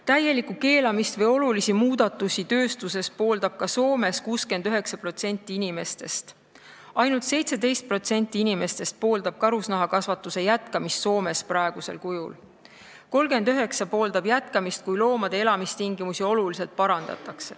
Täielikku keelustamist või olulisi muudatusi tööstuses pooldab Soomes 69% inimestest, ainult 17% inimestest pooldab karusloomakasvatuse jätkamist Soomes praegusel kujul ning 39% pooldab jätkamist, kui loomade elamistingimusi oluliselt parandataks.